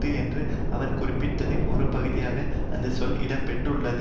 என்று அவர் குறிப்பிட்டதின் ஒரு பகுதியாகவே அந்த சொல் இடம்பெற்றுள்ளது